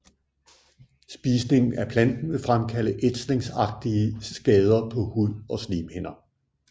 Spisning af planten vil fremkalde ætsningsagtige skader på hud og slimhinder